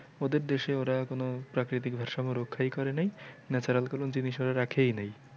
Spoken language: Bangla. ওদের দেশে ওরা এখনও প্রাকৃতিক ভারসাম্যরক্ষাই করে নাই natural কোনো জিনিস ওরা রাখেই নাই